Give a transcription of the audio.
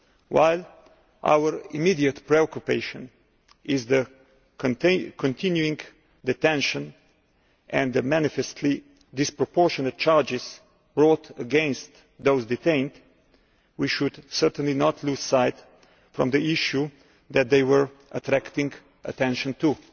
While our immediate preoccupation is the continuing detention and the manifestly disproportionate charges brought against those detained, we should certainly not lose sight of the issue that they were attracting attention to.